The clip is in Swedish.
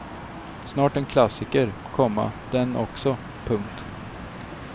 Snart en klassiker, komma den också. punkt